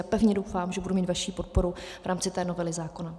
A pevně doufám, že budu mít vaši podporu v rámci té novely zákona.